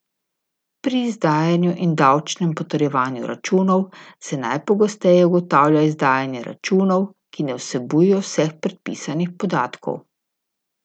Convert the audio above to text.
Pri izdajanju in davčnem potrjevanju računov se najpogosteje ugotavlja izdajanje računov, ki ne vsebujejo vseh predpisanih podatkov.